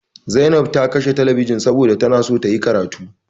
Zainab ta kashe telebijin ɗin saboda tana so tayi karatu.